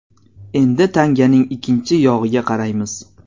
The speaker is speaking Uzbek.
Endi tanganing ikkinchi yog‘iga qaraymiz.